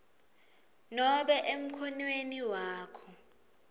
nobe emkhonweni wakho